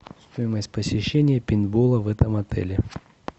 стоимость посещения пейнтбола в этом отеле